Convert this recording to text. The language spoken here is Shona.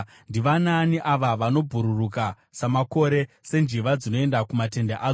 “Ndivanaani ava vanobhururuka samakore, senjiva dzinoenda kumatendere adzo?